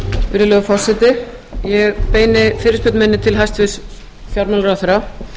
virðulegi forseti ég beini fyrirspurn minni til hæstvirts fjármálaráðherra